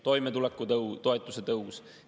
Toimetulekutoetuse tõus.